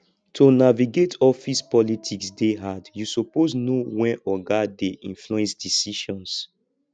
to navigate office politics dey hard you suppose know wen oga dey influence decisions